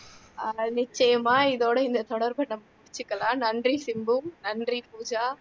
நிச்சயமா இதோட இந்த தொடர்பை நம்ம முடிச்சுக்கலாம் நன்றி சிம்பு நன்றி பூஜா